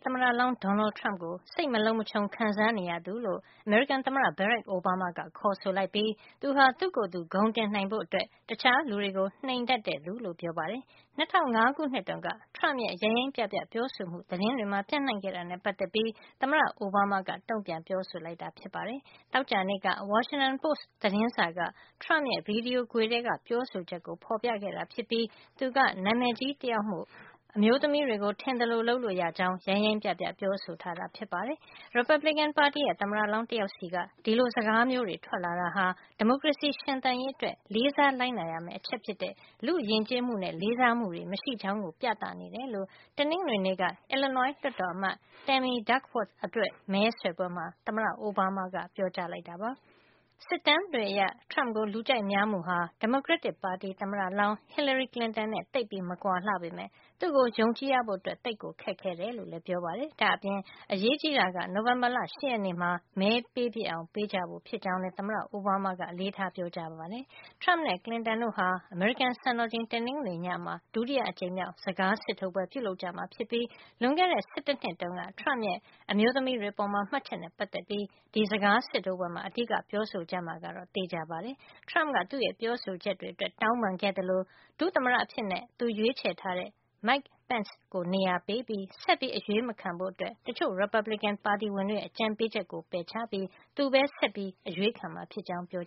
သမ္မတလောင်း Donald Trump ကို စိတ်မလုံခြုံ ခံစားနေရသူလို့ အမေရိကန် သမ္မတ Barack Obama က ခေါ်ဆိုလိုက်ပြီး သူဟာ သူ့ကိုယ်သူ ဂုဏ်တင်နိုင်ဖို့ တခြားလူတွေကို နှိမ်တတ်တဲ့ သူလို့ ပြောပါတယ်။ ၂၀၀၅ ခုနှစ်တုန်းက Trump ရဲ့ ရိုင်းရိုင်းပြပြ ပြောဆိုမှု သတင်းတွေမှာ ပြန့်နှံခဲ့တာနဲ့ ပါတ်သက်ပြီး သမ္မတ အိုဘားမားက တုန့်ပြန်ပြောဆို လိုက်တာဖြစ်ပါ တယ်။ သော ကြာနေ့က Washington Post သတင်းစာက Trump ရဲ့ ဗီဒီယိုခွေထဲ က ပြော ဆိုချက်ကို ဖေါ်ပြခဲ့တာ ဖြစ်ပြီး သူက နံမယ်ကြီးတယောက်မို့ အမျိုးသမီးတွေကို ထင်သလို လုပ်လို့ ရကြောင်း ရိုင်းရိုင်းပြပြ ပြောဆိုထားတာ ဖြစ်ပါတယ်။ ရီပါတ်ဘလစ်ကင်ပါတီရဲ့ သမ္မတလောင်း တယောက်ဆီက ဒီလိုစကားမျိုးတွေ ထွက်လာတာဟာ ဒီမိုကရေစီရှင်သန်ရေးအတွက် လေးစားလိုက်နာရမယ့် အ ချက်ဖြစ်တဲ့ လူ့ယဉ်ကျေးမှုနဲ့ လေးစားမှုတွေ မရှိကြောင်းကို ပြသနေတယ်လို့ တနင်္ဂနွေနေ့က Illinois လွှတ်တော်အမတ် Tammy Duckworth အတွက် မဲဆွယ်ပွဲမှာ သမ္မတ အိုဘားမားက ပြောပါတယ်။ စစ်တမ်းတွေအရ Trump ကို လူကြိုက်များမှုဟာ ဒီမိုကရက်တစ်ပါတီ သမ္မ တလောင်း Hillary Clinton နဲ့ သိပ်မကွာပေမယ့် သူ့ကို ယုံကြည်ရဖို့ သိပ်ခက် တယ်လို့လည်း ပြောပါတယ်။ ဒါ့အပြင် အရေးကြီးတာက နိုဝင်ဘာ ၈ ရက်နေ့မှာ မဲပေးဖြစ်အောင် ပေးကြဖို့ဖြစ်ကြောင်း လည်း သမ္မတ အိုဘားမားက အလေး ထား ပြောကြားခဲ့ပါတယ်။ Trump နဲ့ Clinton တို့ဟာ အမေရိကန် စံတော်ချိန် တနင်္ဂနွေနေ့ ညမှာ ဒုတိယ အကြိမ်မြောက် စကားစစ်ထိုးပွဲ ပြုလုပ်ကြမှာ ဖြစ်ပြီး လွန်ခဲ့တဲ့ ၁၁ နှစ်တုန်းက Trump ရဲ့ အမျိုးသမီးတွေအပေါ် မှတ်ချက်နဲ့ ပါတ်သက်ပြီး ဒီစကားစစ်ထိုးပွဲမှာ အဓိက ပြောဆိုကြမှာကတော့ သေချာပါ တယ်။ Trump က သူ့ရဲ့ ပြောဆိုချက်တွေအတွက် တောင်းပန်ခဲ့သလို၊ ဒုသမ္မတ အဖြစ် သူရွေးချယ်ထားတဲ့ Mile Pence ကိုနေရာပေးပြီး ဆက်အရွေးမခံဖို့ တချို့ ရီပတ်ပလင်ကန် ပါတီဝင်တွေရဲ့ အကြံပေးချက်ကို ပယ်ချပြီး သူဆက် အရွေးခံမှာ ဖြစ်ကြောင်း ပြော